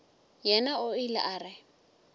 yena o ile a re